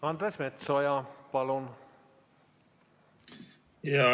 Andres Metsoja, palun!